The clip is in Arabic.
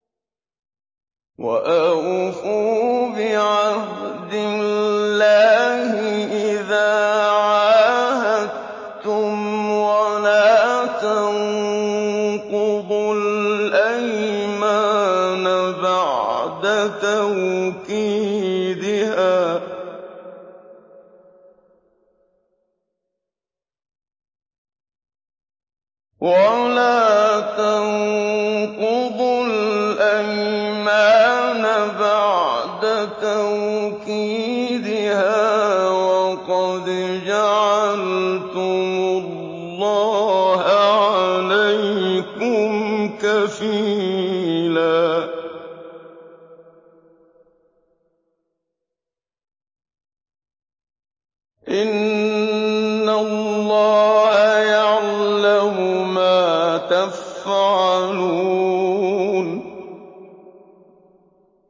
وَأَوْفُوا بِعَهْدِ اللَّهِ إِذَا عَاهَدتُّمْ وَلَا تَنقُضُوا الْأَيْمَانَ بَعْدَ تَوْكِيدِهَا وَقَدْ جَعَلْتُمُ اللَّهَ عَلَيْكُمْ كَفِيلًا ۚ إِنَّ اللَّهَ يَعْلَمُ مَا تَفْعَلُونَ